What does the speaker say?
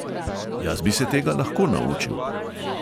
"Jaz bi se tega lahko naučil."